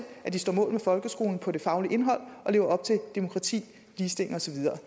stå mål med folkeskolen på det faglige indhold og leve op til demokrati ligestilling og så videre